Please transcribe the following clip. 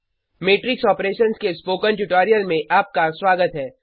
matrix operations के spoken tutorial में आपका स्वागत है